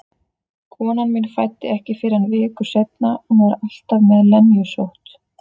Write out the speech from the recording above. Konan mín fæddi ekki fyrr en viku seinna, hún var alltaf með lenjusótt.